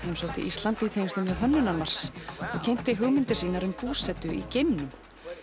heimsótti Ísland í tengslum við Hönnunarmars og kynnti hugmyndir sínar um búsetu í geimnum